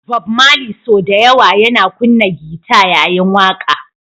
Bob Mali sau da yawa yana kunna gita yayin waƙa